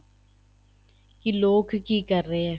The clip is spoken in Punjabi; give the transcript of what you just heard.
ਕੀ ਲੋਕ ਕੀ ਕਰ ਰਹੇ ਏ